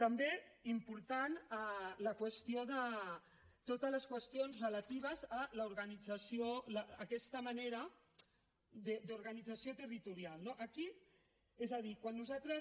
també importants totes les qüestions relatives a aquesta manera d’organització territorial no aquí és a dir quan nosaltres